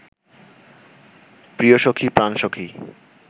প্রিয়সখী প্রাণসখী